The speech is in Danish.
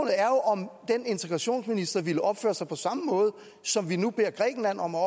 om den integrationsminister ville opføre sig på samme måde som vi nu beder grækenland om at